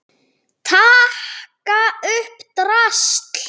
Taka upp drasl.